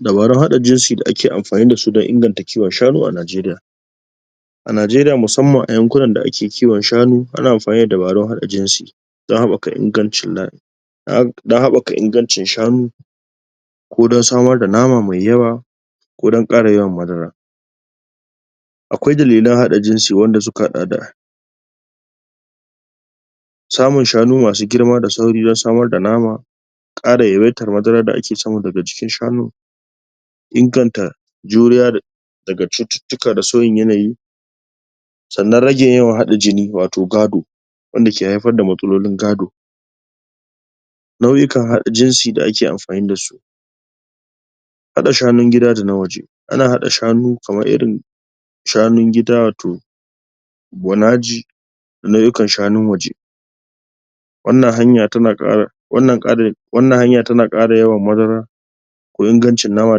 Dabarun haɗa jinsi da ake amfani da su don inganta kiwon shanu a Najeriya A Najeriya musamman ƴan guraren da ake kiwon shanu ana amfani da dabarun haɗa jinsi don haɓaka don haɓaka ingancin shanu ko don samar da nama mai yawa ko don ƙara yawan madara akwai dalilan haɗa jinsi wanda suka haɗa da samun shanu masu girma da sauri don samar da nama ƙara yawaitar madaran da ake samu daga jikin shanun inganta juriya da daga cututtuka da sauyin yanayi sannan rage yawan haɗa jini watau gado wanda ke haifar da matsalolin gado nau'ukan haɗa jinsi da ake amfani da su haɗa shanun gida da na waje ana haɗa shanu kamar irin shanun dida watau bonaji da nau'ukan shanun waje wannan hanya tana ƙara? wannan hanya tana ƙara yawan madara ko ingancin nama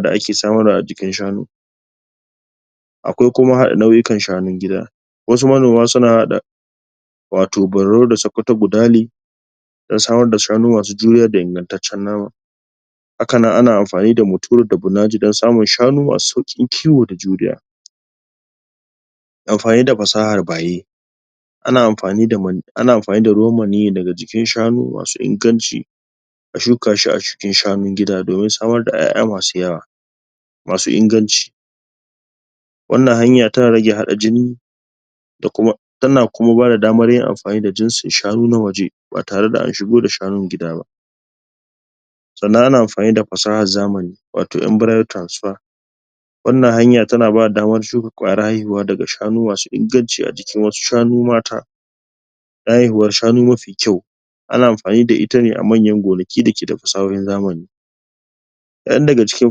da ake samarwa a jikin shanu akwai kuma haɗa nau'ukan shanun gida wasu manoma suna haɗa watau bararo da sakkwato budale don samar da shanu masu juriya da ingantaccen nama haka nan ana amfani muturu da bunaji don samun shanu masu sauƙin kiwo da juriya amfani da fasahar baye ana amfani da ana amfani da ruwan maniyyi daga jikin shanu masu inganci a shuka shi a cikin shanun gida domin samar da ƴaƴa masu yawa masu inganci wannan hanya tana rage haɗa jini da kuma tana kuma bada damar yin amfani da jinsin shanu na waje ba tare da an shigo da shanun gida ba sannan ana amfani da fasahar zamani watau embryo transfer wannan hanya tana bada daman shuka ƙwayar haihuwa daga shanu masu inganci a jikin wasu shanu mata na haihuwar shanu mafi kyau ana amfani da ita ne a manyan gonaki da ke da fasahohin zamani kaɗan daga cikin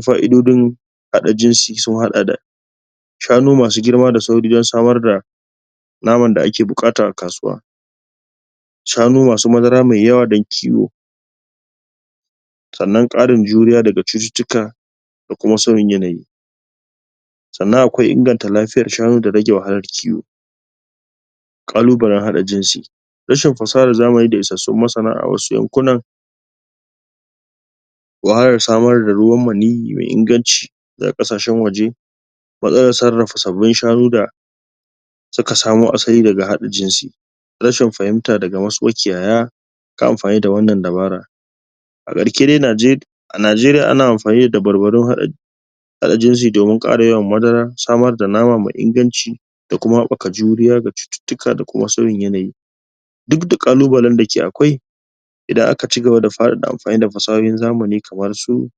fa'idojin haɗa jinsi sun haɗa da shanumasu girma da sauri don samar da naman da ake buƙata a kasuwa shanu masu madara mai yawa don kiwo sannan ƙarin juriya daga cututtuka da kuma sauyin yanayi sannan akwai inganta lafiyar shanu da rage wahalar ciwo ƙalubalen haɗa jinsi rashin fasahar zamani da isassun masana a wasu yankunan wahalar samar da ruwan maniyyi mai inganci daga ƙasashen waje matsalan sarrafa sabbin shanu da suka samo asali daga haɗa jinsi rashin fahimta daga wasu makiyaya kan amfani da wannan dabara a ƙarshe dai a Najeriya ana amfani da dabarbarun haɗa haɗa jinsi domin ƙara yawan madara, samar da nama mai inganci da kuma haɓaka juriya daga cututtuka da kuma sauyin yanayi duk da ƙalubalen da ke akwai idan aka cigaba da faɗaɗa amfani da fasahar zamani kamar su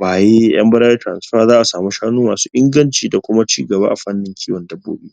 baye, embryo transfer za a samu shanu masu inganci da kuma cigaba a fanin kiwon dabbobi